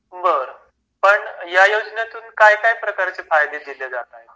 बरं पण या योजनेतून काय काय प्रकारचे फायदे दिले जात आहेत